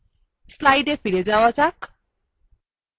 slides ফিরে যাওয়া যাক